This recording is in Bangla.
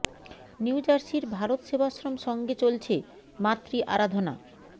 নিউ জার্সির ভারত সেবাশ্রম সঙ্গে চলছে মাতৃ আরাধনা